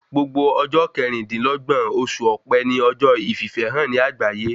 Gbogbo ọjọ kẹrìn-dìnlọ́gbọ̀n oṣù ọ̀pe ni ọjọ́ ìfìfẹ́hàn ní àgbáyé